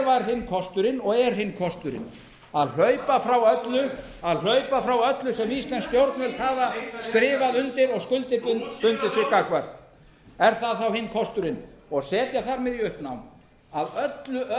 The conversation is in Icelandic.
hinn kosturinn og er hinn kosturinn að hlaupa frá öllu sem íslensk stjórnvöld hafa skrifað undir og skuldbundið sig gagnvart er það þá hinn kosturinn og setja þar með í uppnám að öllu öðru